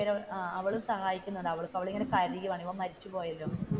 അവളും സഹായിക്കുന്നുണ്ട് അവൾ ഇങ്ങനെ കരയുവാണ് ഇവൻ മരിച്ചുപോയല്ലോ.